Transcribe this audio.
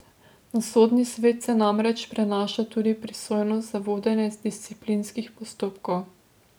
Na sodni svet se namreč prenaša tudi pristojnost za vodenje disciplinskih postopkov.